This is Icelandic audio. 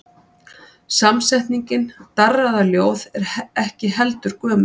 Samsetningin darraðarljóð er ekki heldur gömul.